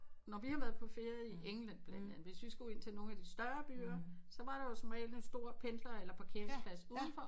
Når vi har været på ferie i England blandt andet hvis vi skulle ind til nogle af de større byer så var der jo som regel en stor pendler eller parkeringsplads udenfor